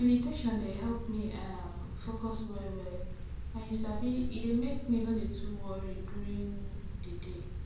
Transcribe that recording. meditation dey help me um focus wellwell and you sabi e dey make me no too dey worry during um the day